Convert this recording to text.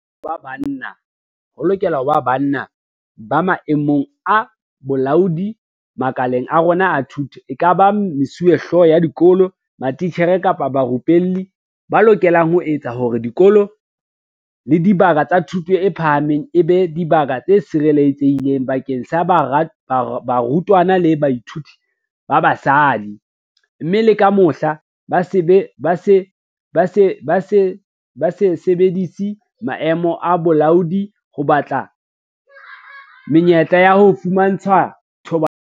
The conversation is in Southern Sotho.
Ho lokela ho ba banna ba maemong a bolaodi makaleng a rona a thuto, ekaba mesuwehlooho ya dikolo, matitjhere kapa barupelli, ba lokelang ho etsa hore dikolo le dibaka tsa thuto e phahameng e be dibaka tse sireletsehileng bakeng sa barutwana le bathuiti ba basadi, mme le ka mohla, ba se sebedise maemo a bolaodi ho batla menyetla ya ho fumantshwa thobalano.